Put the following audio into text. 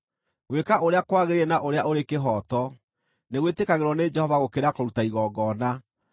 Gwĩka ũrĩa kwagĩrĩire na ũrĩa ũrĩ kĩhooto nĩ gwĩtĩkagĩrwo nĩ Jehova gũkĩra kũruta igongona.